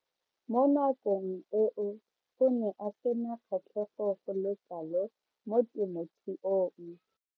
Mo nakong eo o ne a sena kgatlhego go le kalo mo temothuong.